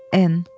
N.